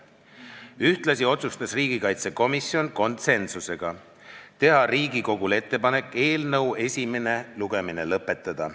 Ühtlasi otsustas riigikaitsekomisjon konsensusega teha Riigikogule ettepaneku eelnõu esimene lugemine lõpetada.